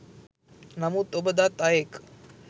නමුත් ඔබ දත් අයෙක්